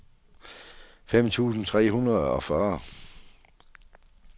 fem tusind tre hundrede og fyrre